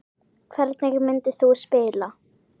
Hvernig myndir þú spila?